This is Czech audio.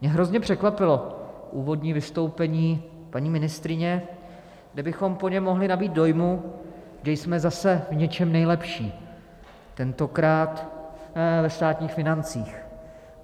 Mě hrozně překvapilo úvodní vystoupení paní ministryně, kde bychom po něm mohli nabýt dojmu, že jsme zase v něčem nejlepší, tentokrát ve státních financích.